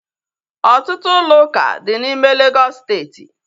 Ọtụtụ ụlọ ụka dị n'ime Legọs steeti